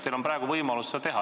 Teil on praegu võimalus seda teha.